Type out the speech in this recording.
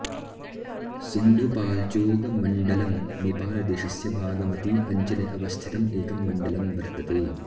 सिन्धुपाल्चोकमण्डलम् नेपालदेशस्य बागमती अञ्चले अवस्थितं एकं मण्डलं वर्तते